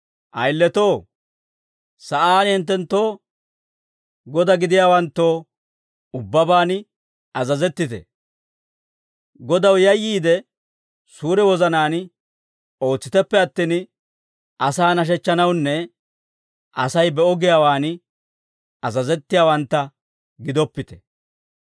Ayiletoo, sa'aan hinttenttoo godaa gidiyaawanttoo ubbabaan azazettite; Godaw yayyiide, suure wozanaan ootsiteppe attin, asaa nashechchanawunne Asay be'o giyaawaan azazettiyaawantta gidoppite.